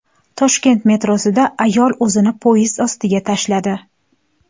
Toshkent metrosida ayol o‘zini poyezd ostiga tashladi.